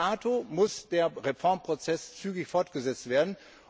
Bis dahin muss der Reformprozess zügig fortgesetzt werden.